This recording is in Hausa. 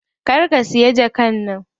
Kar ka siya jakar nan.